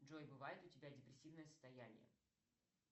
джой бывает у тебя депрессивное состояние